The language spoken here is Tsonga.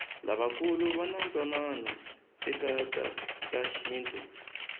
lavakulu vanatwanano ekatashintu